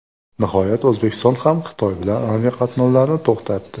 Nihoyat O‘zbekiston ham Xitoy bilan aviaqatnovlarni to‘xtatdi .